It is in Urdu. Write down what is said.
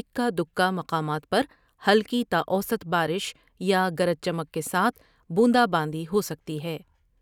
اکا دکا مقامات پر ہلکی تا اوسط بارش یا گرج چمک کے ساتھ بوندا باندی ہوسکتی ہے ۔